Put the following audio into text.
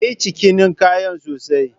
Kayi cikinin kayan sosai?